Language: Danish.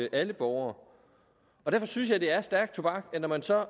alle borgere derfor synes jeg det er stærk tobak at når man så